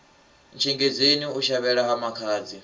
ntshengedzeni u shavhela ha makhadzi